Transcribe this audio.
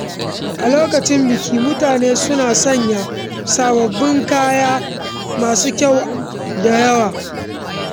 A lokacin bikin, mutane suna sanya sababbin kaya masu kyau da ado.